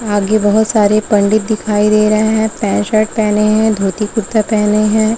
आगे बहुत सारे पंडित दिखाई दे रहे है पैंट शर्ट पेहने है धोती कुरता पेहने हैं।